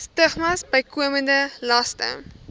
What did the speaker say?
stigmas bykomende laste